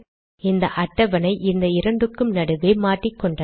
இந்த அட்டவணை இந்த இரண்டுக்கும் நடுவே மாட்டிக்கொண்டது